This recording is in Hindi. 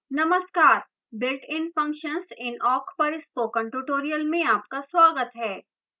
नमस्कार builtin functions in awk पर spoken tutorial में आपका स्वागत है